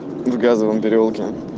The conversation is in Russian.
в газовом переулке